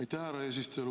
Aitäh, härra eesistuja!